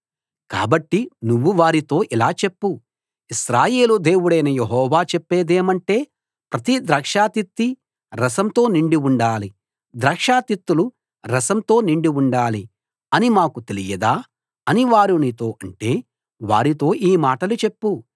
కాబట్టి నువ్వు వారితో ఇలా చెప్పు ఇశ్రాయేలు దేవుడైన యెహోవా చెప్పేదేమంటే ప్రతి ద్రాక్ష తిత్తీ రసంతో నిండి ఉండాలి ద్రాక్ష తిత్తులు రసంతో నిండి ఉండాలి అని మాకు తెలియదా అని వారు నీతో అంటే వారితో ఈ మాటలు చెప్పు